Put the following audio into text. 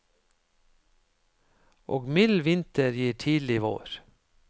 Og mild vinter gir tidlig vår.